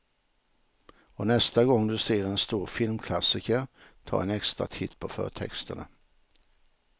Och nästa gång du ser en stor filmklassiker, ta en extra titt på förtexterna.